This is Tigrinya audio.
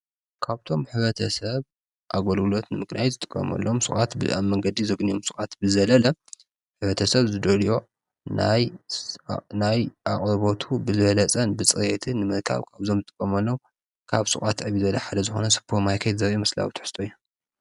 ካብ እቶም ሕብረተሰብ ኣገልግሎት ንምግናይ ዝጥቀመሎም ሽቃት ኣብ መንገዲ ዘግንዮም ሽቃት ብዝዘለለ ሕብረተሰብ ዝደልዮ ናይ ኣቕርቦቱ ብዝበለፅ ብፅሬትን ንምርካብ ካብ እዞም ንጥቀመሎም ካብ ሽቃት ዕብይ ዝበለ ሓደ ዝኮነ ሱፐርማርኬት ዘርኢ ምስላዊ ትሕዝቶ እዩ ።